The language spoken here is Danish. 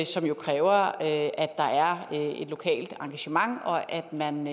som jo kræver at der er et lokalt engagement og at man